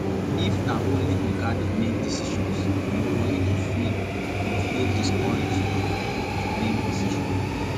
if na only oga dey make decisions employee go feel go feel discouraged um to make decision